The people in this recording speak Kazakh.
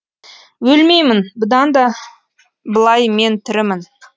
өлмеймін бұдан былай мен тірімін